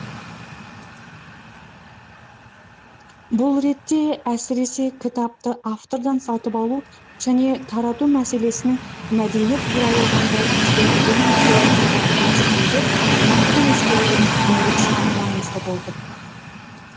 бұл ретте әсіресе кітапты автордан сатып алу және тарату мәселесінің мәдениет туралы заңға өзгертулер мен толықтырулар енгізілгенде нақты ескерілгені айрықша маңызды болды